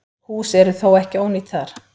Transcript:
Hús eru þó ekki ónýt þar.